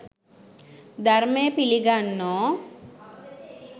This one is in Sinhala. ධර්මය පිළි ගන්නෝ